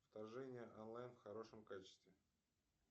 вторжение онлайн в хорошем качестве